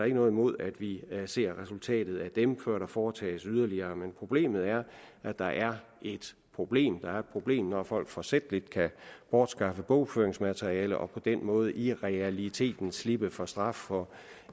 ikke noget imod at vi ser resultatet af dem før der foretages yderligere men problemet er at der er et problem der er et problem når folk forsætligt kan bortskaffe bogføringsmateriale og på den måde i realiteten slippe for straf for